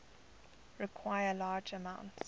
require large amounts